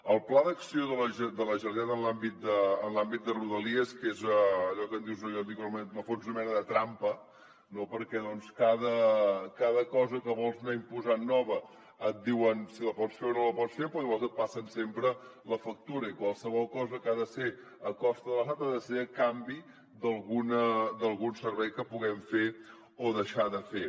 el pla d’acció de la generalitat en l’àmbit de rodalies que és allò que en dius o jo en dic almenys en el fons una mena de trampa no perquè cada cosa que vols anar imposant de nova et diuen si la pots fer o no la pots fer però llavors et passen sempre la factura i qualsevol cosa que ha de ser a costa de l’estat ha de ser a canvi d’algun servei que puguem fer o deixar de fer